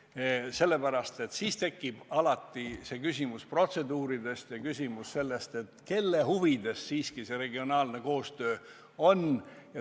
Seda sellepärast, et alati tekib küsimus protseduuridest ja küsimus sellest, kelle huvides siiski see regionaalne koostöö on.